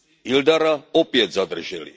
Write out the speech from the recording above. Ildara opět zadrželi.